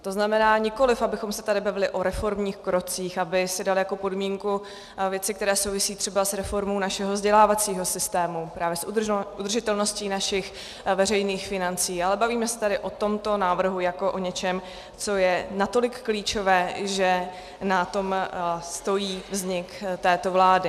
To znamená, nikoliv abychom se tady bavili o reformních krocích, aby si dali jako podmínku věci, které souvisí třeba s reformou našeho vzdělávacího systému, právě s udržitelností našich veřejných financí, ale bavíme se tady o tomto návrhu jako o něčem, co je natolik klíčové, že na tom stojí vznik této vlády.